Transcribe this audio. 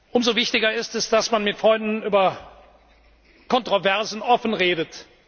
Umso wichtiger ist es, dass man mit Freunden über Kontroversen offen redet.